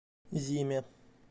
зиме